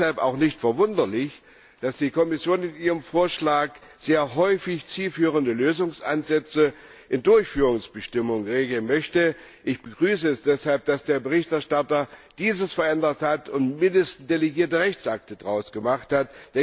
Es ist deshalb auch nicht verwunderlich, dass die Kommission in ihrem Vorschlag sehr häufig zielführende Lösungsansätze in Durchführungsbestimmungen regeln möchte. Ich begrüße es deshalb, dass der Berichterstatter dies geändert und wenigstens delegierte Rechtsakte daraus gemacht hat.